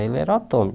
Ele era autônomo.